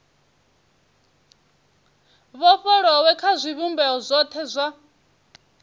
vhofholowe kha zwivhumbeo zwothe zwa